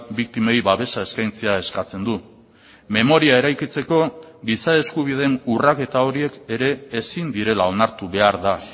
biktimei babesa eskaintzea eskatzen du memoria eraikitzeko giza eskubideen urraketa horiek ere ezin direla onartu behar da